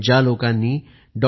ज्या लोकांनी डॉ